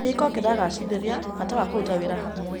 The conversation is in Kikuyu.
Kĩhiko kĩragacĩrithia bata wa kũruta wĩra hamwe.